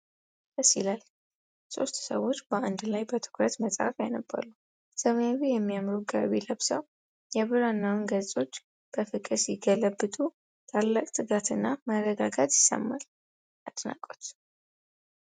ደስ ይላል! ሦስት ሰዎች በአንድ ላይ በትኩረት መጽሐፍ ያነባሉ። ሰማያዊ የሚያምሩ ጋቢ ለብሰው የብራናውን ገጾች በፍቅር ሲገለብጡ ታላቅ ትጋትና መረጋጋት ይሰማል። አድናቆት!